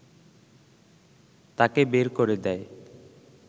তাকে বের করে দেয়